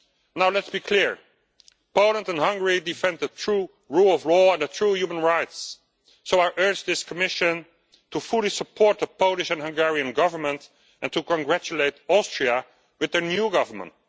Now, let us be clear. Poland and Hungary defend the true rule of law and true human rights, so I urge this Commission to fully support the Polish and Hungarian Governments and to congratulate Austria on their new government.